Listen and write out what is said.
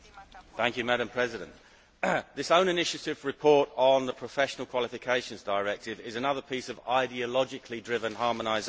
Madam President, this own initiative report on the professional qualifications directive is another piece of ideologically driven harmonisation.